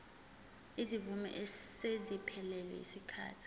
izimvume eseziphelelwe yisikhathi